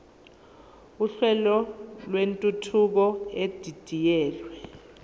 uhlelo lwentuthuko edidiyelwe